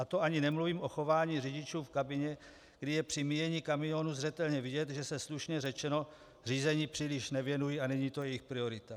A to ani nemluvím o chování řidičů v kabině, kdy je při míjení kamionů zřetelně vidět, že se, slušně řečeno, řízení příliš nevěnují a není to jejich priorita.